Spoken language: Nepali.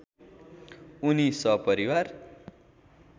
उनी सपरिवार